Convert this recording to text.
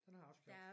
Den har jeg også købt